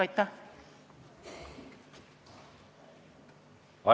Aitäh!